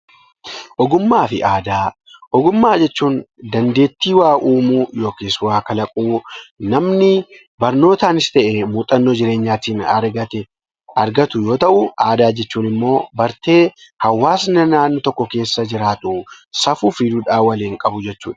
Ogummaa fi Aadaa: Ogummaa jechuun dandeettii waa uumuu yookiis waa kalaquu namni barnootaanis ta'ee muhxannoo jireenyaatiin argatu yoo ta’u, aadaa jechuun immoo bartee hawwaasni naannoo tokko keessa jiraatu safuu fi duudhaa waliin qabu jechuudha.